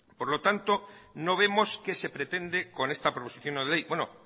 por lo tanto no vemos qué se pretende con esta proposición no de ley bueno